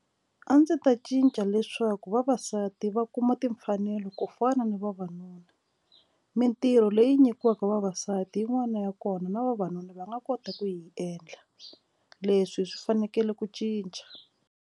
A ndzi ta cinca leswaku vavasati va kuma timfanelo ku fana ni vavanuna mitirho leyi nyikiwaka vavasati yin'wana ya kona na vavanuna va nga kota ku yi endla leswi hi swi fanekele ku cinca.